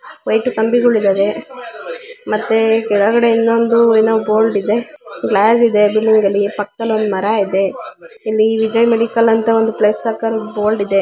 White ಕಂಬಿಗಳು ಇದ್ದವೆ ಮತ್ತೆ ಕೆಳಗಡೆ ಇಂದ ಒಂದು ಏನೋ ಬೋರ್ಡ್ ಇದೆ ಗ್ಲಾಸ್ ಇದೆ ಬಿಲ್ಡಿಂಗ್ ಅಲ್ಲಿ ಪಕ್ಕದಲ್ಲೊಂದು ಮರ ಇದೆ ಇಲ್ಲಿ ವಿಜಯ ಮೆಡಿಕಲ್ ಅಂತ ಒಂದು ಪ್ಲಸ್ ಸರ್ಕಲ್ ಅಲ್ ಬೋರ್ಡ್ ಇದೆ.